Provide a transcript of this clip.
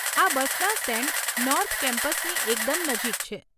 આ બસના stand north કેમ્પસની એકદમ નજીક છે.